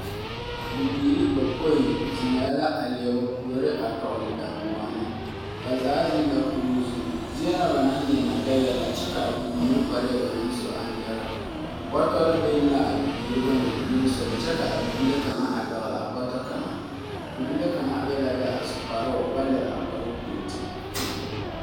Bibiiri bapõĩ zeŋɛɛ la a leɛ ba puori a tɔgele daŋgoɔne. ba zaa zeŋ la kuruu zuŋ. Zie na ba naŋ zeŋ na dɛgɛɛ la kyɛ ka a bibiiri kparɛɛ ba naŋ su na aŋ dɛge. Bɔtɔre beŋ la a bibiiri bone nimesoga kyɛ ka a bibile kaŋa a pɛgele a bɔtɔ kaŋa. Bibile kaŋa be la be a su kparoo o ba lere a kparoo pirti.